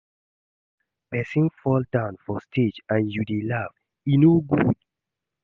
Why you dey laugh? Person fall down for stage and you dey laugh. E no good